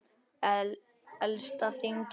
Elsta þing í heimi.